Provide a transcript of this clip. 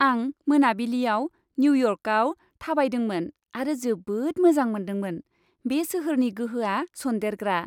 आं मोनाबिलियाव निउयर्कआव थाबायदोंमोन आरो जोबोद मोजां मोनदोंमोन। बे सोहोरनि गोहोआ सनदेरग्रा।